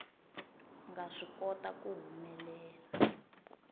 nga swi kota ku humelela